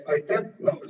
Aitäh!